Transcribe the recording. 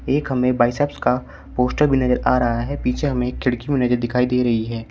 एक हमें बाइसेप्स का पोस्टर भी नजर आ रहा है पीछे हमें खिड़की भी नज दिखाई दे रही है।